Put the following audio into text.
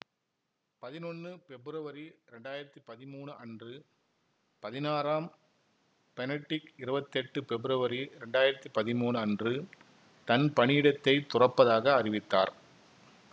பதினொன்னு பெப்ருவரி இரண்டாயிரத்தி பதிமூனு அன்று பதினாறாம் பெனடிக்ட் இருவத்தெட்டு பெப்ருவரி இரண்டாயிரத்தி பதிமூனு அன்று தன் பணியிடத்தை துறப்பதாக அறிவித்தார்